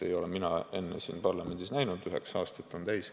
– ei ole mina enne siin parlamendis näinud, kuigi mul on juba üheksa aastat täis.